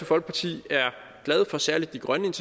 folkeparti er glade for særlig de grønne